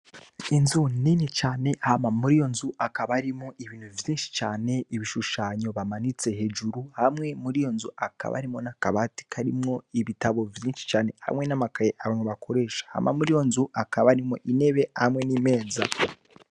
Inzu nini cane hama muri iyo nzu hakaba harimwo ibintu vyinshi cane. Ibishushanyo bamanitse hejuru hamwe muri iyo nzu hakaba harimwo n'akabati karimwo ibitabo vyinshi cane hamwe n'amakaye abantu bakoresha. Hama muri iyo nzu hakaba harimwo intebe hamwe n'imeza.